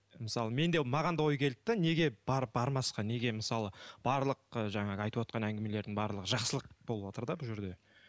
мысалы мен де маған да ой келді де неге бармасқа неге мысалы барлық ы жаңағы айтып отырған әңгімелердің барлығы жақсылық болып отыр да бұл жерде